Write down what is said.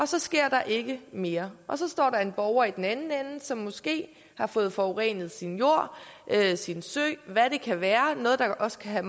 så sker der ikke mere og så står der en borger i den anden ende som måske har fået forurenet sin jord sin sø eller hvad det kan være noget der også kan